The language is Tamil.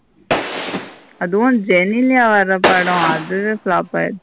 அதுவும் ஜெனிலிய வர படம் அதுவே flop ஆகிரிச்சி.